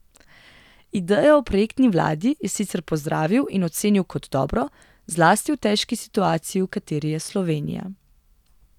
Idejo o projektni vladi je sicer pozdravil in ocenil kot dobro, zlasti v težki situaciji, v kateri je Slovenija.